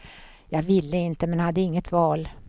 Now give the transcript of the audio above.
Jag ville inte, men hade inget val.